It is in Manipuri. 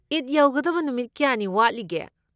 ꯏꯗ ꯌꯧꯒꯗꯕ ꯅꯨꯃꯤꯠ ꯀꯌꯥꯅꯤ ꯋꯥꯠꯂꯤꯒꯦ꯫